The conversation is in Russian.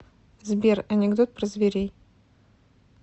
сбер анекдот про зверей